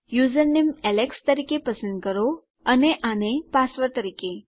username Alex તરીકે પસંદ કરો અને આને પાસવર્ડ તરીકે